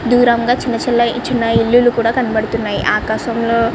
దూరంగా చిన్న చిన్న చిన్న ఇల్లులు కూడా కనబడుతున్నాయి. ఆకాశం లో --